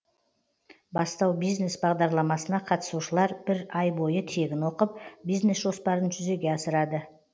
бастау бизнес бағдарламасына қатысушылар бір ай бойы тегін оқып бизнес жоспарын жүзеге асырады